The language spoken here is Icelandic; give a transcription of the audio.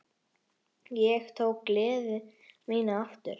Ég tók gleði mína aftur.